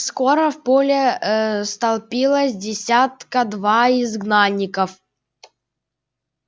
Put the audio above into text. скоро в поле ээ столпилось десятка два изгнанников